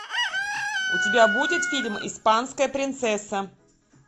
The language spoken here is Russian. у тебя будет фильм испанская принцесса